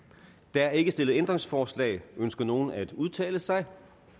der er ikke stillet ændringsforslag ønsker nogen at udtale sig